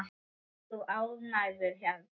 Ert þú ánægður hérna?